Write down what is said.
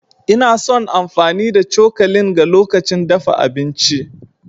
Ina son amfani da cokalin ga lokacin dafa abinci.